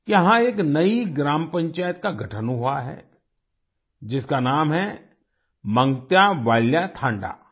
यहाँ एक नई ग्राम पंचायत का गठन हुआ है जिसका नाम है मंग्त्यावाल्या थांडा